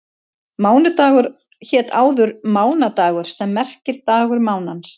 Mánudagur hét áður mánadagur sem merkir dagur mánans.